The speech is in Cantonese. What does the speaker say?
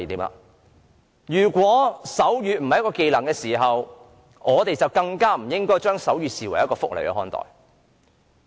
既然手語並非技能，我們更不應該把手語視為福利。